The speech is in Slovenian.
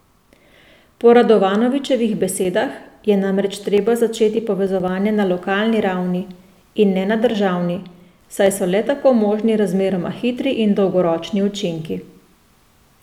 Po Radovanovičevih besedah je namreč treba začeti povezovanje na lokalni ravni, in ne državni, saj so le tako možni razmeroma hitri in dolgoročni učinki.